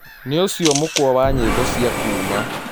Nĩũcĩo mũkwa wa nyĩmbo cĩa kuũma